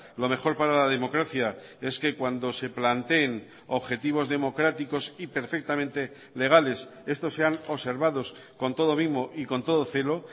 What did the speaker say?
lo mejor para la democracia es que cuando se planteen objetivos democráticos y perfectamente legales estos sean observados con todo mimo y con todo celo